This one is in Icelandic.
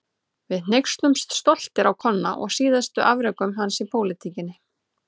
Við hneykslumst stoltir á Konna og síðustu afrekum hans í pólitíkinni.